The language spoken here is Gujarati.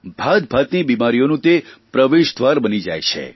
ભાતભાતની બિમારીઓનું તે પ્રવેશદ્વાર બની જાય છે